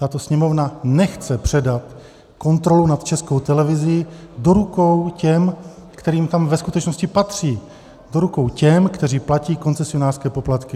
Tato Sněmovna nechce předat kontrolu nad Českou televizí do rukou těm, kterým to ve skutečnosti patří, do rukou těm, kteří platí koncesionářské poplatky.